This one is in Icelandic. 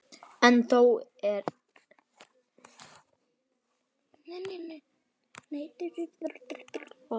En þó ekki alveg.